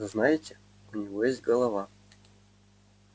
знаете у него есть голова